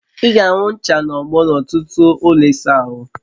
I ga-ahụ ncha na ogbo n'ọtụtụ ụlọ ịsa ahụ